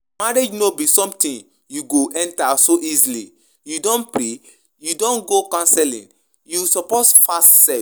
Marriage no be something you go enter so easily, you don pray? you don go counselling? you suppose fast sef